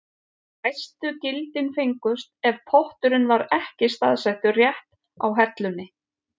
Hæstu gildin fengust ef potturinn var ekki staðsettur rétt á hellunni.